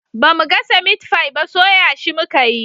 Bamu gasa mitfai ba soya shi muka yi